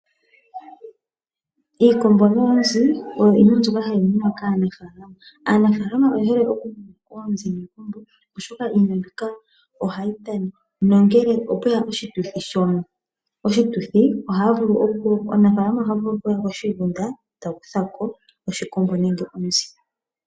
Iikombo noonzi oyo iinima mbyoka hayi munwa kaanafaalama. Aanafaalama oye hole okumuna oonzi niikombo, oshoka iimuna mbika ohayi tana. Ngele opwe ya oshituthi omunafaalama oha vulu okuya koshigunda e ta kutha ko oshikombo nenge onzi.